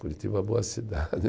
Curitiba é uma boa cidade.